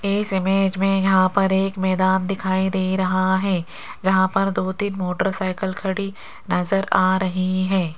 इस इमेज में यहां पर एक मैदान दिखाई दे रहा है। जहां पर दो-तीन मोटरसाइकिल खड़ी नजर आ रही है।